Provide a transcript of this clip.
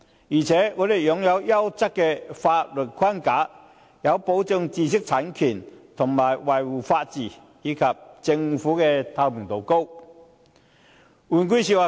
此外，香港擁有優質的法律框架，有效保障知識產權和維護法治，而且政府能夠維持高透明度。